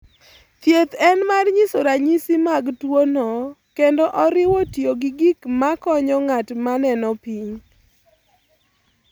Thieth en mar nyiso ranyisi mag tuono kendo oriwo tiyo gi gik makonyo ng'at ma neno piny.